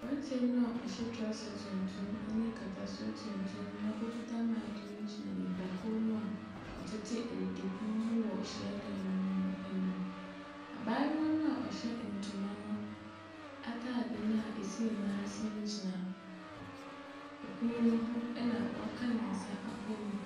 Aberanteɛ no a ɔhyɛ trouser tuntum ne nkatasoɔ tuntum na okita mic ne gyina nnipakuo no a wɔtete adidipono ho wɔ hyiadan ne mu anim. Abaayewa no a ɔhyɛ ntoma no ataade no a ɛsi ne nan ase no gyina pono ne ho na waka ne nsa abɔm.